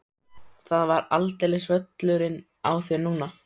Það er aldeilis völlurinn á þér núna!